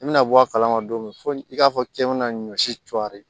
I bɛna bɔ a kalama don min fo i k'a fɔ k'i bɛna ɲɔ si cori